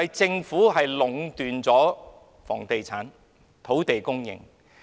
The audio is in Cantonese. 政府其實壟斷了房地產和土地供應。